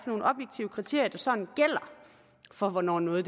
sådan gælder for hvornår noget